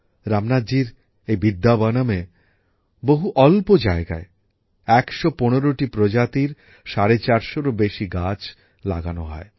রামনাথজির এই বিদ্যাবনমে খুব অল্প জায়গায় ১১৫টি প্রজাতির ৪৫০টিরও বেশি গাছ লাগানো হয়